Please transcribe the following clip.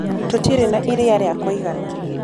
Tũtĩrĩ na ĩrĩa rĩa kũĩgana